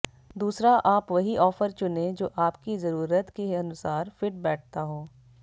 दूसरा आप वही ऑफर चुनें जो आपकी जरूरत के अनुसार फिट बैठता हो